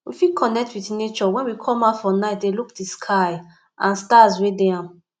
we fit connect with nature when we come out for night de look di sky and stars wey de am